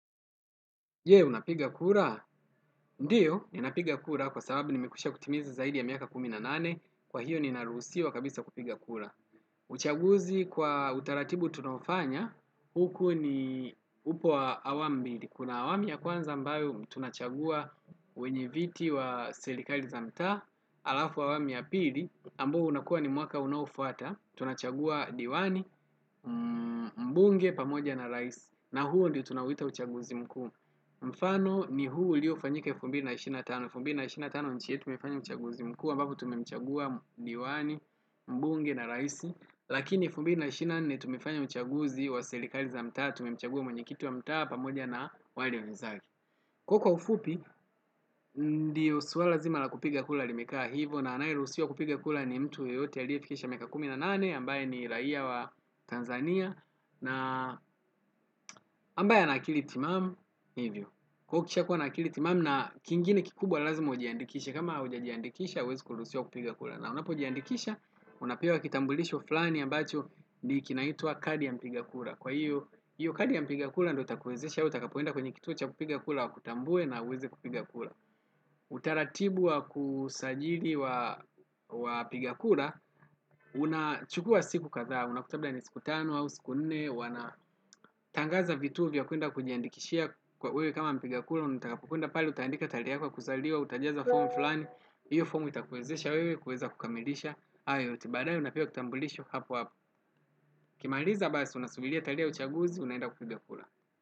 Je, unapiga kura? Ndio, ninapiga kura kwasababu nimekwisha kutimiza zaidi ya miaka kumi na nane, kwa hiyo ninaruhusiwa kabisa kupiga kura. Uchaguzi kwa utaratibu tunaofanya, huku ni upo wa awamu mbili. Kuna awamu ya kwanza ambayo tunachagua wenye viti wa serikali za mtaa, alafu awamu ya pili, ambao unakuwa ni mwaka unaofwata, tunachagua diwani, mbunge pamoja na rais, na huo ndio tunouita uchaguzi mkuu. Mfano ni huu ulio fanyika elfu mbili na ishirini na tano, elfu mbili na ishirini na tano nchi yetu imefanya uchaguzi mkuu ambapo tumemchagua diwani, mbunge na rais lakini elfu mbili na ishirini na nne tumefanya uchaguzi wa selikali za mtaa. Tumemchagua mwenyekiti wa mtaa pamoja na wale wenzake kwa hio kwa ufupi ndio swala zima la kupiga kura limekaa hivo na anayeruhusiwa kupiga kura ni mtu yeyote aliyefikisha miaka kumi na nane ambaye ni raia wa Tanzania na ambaye ana akili timamu hivyo kwa hiyo ukisha kuwa na akili timamu na kingine kikubwa lazimu ujiandikisha kama haujiandikisha hauwezi kuruhusiwa kupiga kura. Na unapojiandikisha, unapewa kitambulisho flani ambacho kinaitwa kadi ya mpiga kura. Kwa hiyo, hiyo kadi ya mpiga kura ndo utakuwezesha, utakapoenda kwenye kituo cha kupigakura wakutambue na uweze kupiga kura. Utaratibu wakusajili wapiga kura, unachukua siku kadha, unakuta labda ni siku tano, au siku nne, wana tangazo vituo vya kuenda kujiandikishia wewe kama mpiga kura unataka kuenda pale utaandika tatehe yako ya kuzaliwa utajaza fomu fulani hio fomu itakuwezesha wewe kuweza kukamilisha hayo yote baadae unapewa kitambulisho hapo hapo ukimaliza basi unasubiria tarege ya uchaguzi unaenda kupiga kura.